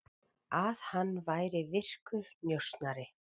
Að hann væri virkur njósnari.